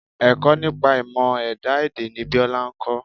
Ẹ̀kọ́ nípa ìmọ̀ ẹ̀dá èdè ni Biola ń kọ́.